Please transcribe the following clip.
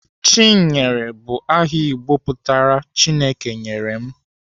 Chinyere bụ aha Igbo pụtara "Chineke nyere m."